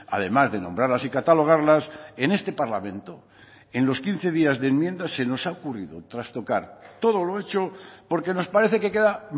además de nombrarlas y catalogarlas en este parlamento en los quince días de enmiendas se nos ha ocurrido trastocar todo lo hecho porque nos parece que queda